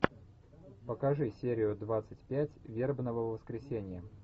покажи серию двадцать пять вербного воскресенья